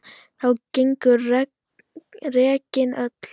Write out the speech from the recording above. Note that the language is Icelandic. Þá gengu regin öll